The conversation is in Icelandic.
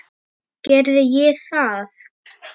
Gerði ég það?